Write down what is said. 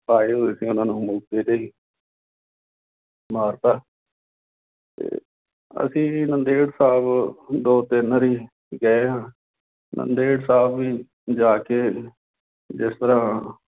ਆਏ ਹੋਏ ਸੀ ਉਹਨਾਂ ਨੂੰ ਮੌਕੇ ਤੇ ਮਾਰ ਦਿੱਤਾ ਤੇ ਅਸੀਂ ਵੀ ਨੰਦੇੜ ਸਾਹਿਬ ਦੋ ਤਿੰਨ ਵਾਰੀ ਗਏ ਹਾਂ ਨੰਦੇੜ ਸਾਹਿਬ ਵੀ ਜਾ ਕੇ ਜਿਸ ਤਰ੍ਹਾਂ